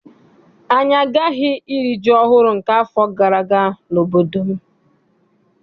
Anyị agaghị iri ji ọhụụ nke afọ gara aga n'obodo m.